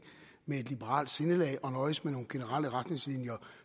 med et liberalt sindelag og nøjes med nogle generelle retningslinjer